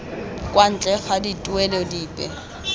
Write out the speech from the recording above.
kwa ntle ga dituelo dipe